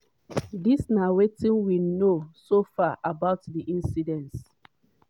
dis na wetin we know so far about di incidence.